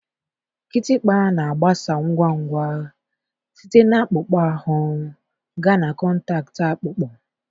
Kịtịkpa na-agbasa ngwa ngwa site na akpụkpọ ahụ gaa na kọntaktị akpụkpọ